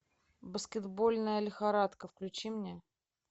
баскетбольная лихорадка включи мне